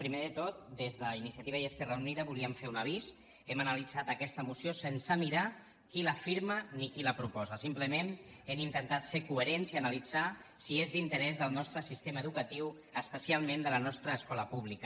primer de tot des d’iniciativa i esquerra unida volíem fer un avís hem analitzat aquesta moció sense mirar qui la firma ni qui la proposa simplement hem intentat ser coherents i analitzar si és d’interès del nostre sistema educatiu especialment de la nostra escola pública